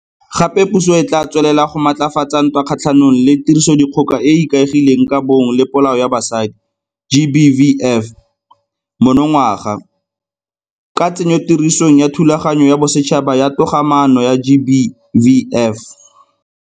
Gape puso e tla tswelela go maatlafatsa ntwa kgatlhanong le Tirisodikgoka e e Ikaegileng ka Bong le Polao ya Basadi GBVF monongwaga, ka tsenyotirisong ya Thulaganyo ya Bosetšhaba ya Togamaano ya GBVF.